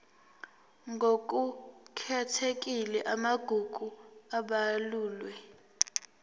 ngokukhethekile amagugu abalulwe